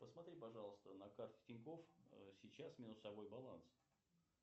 посмотри пожалуйста на карте тинькофф сейчас минусовой баланс